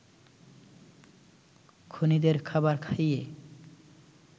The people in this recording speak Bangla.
খুনীদের খাবার খাইয়ে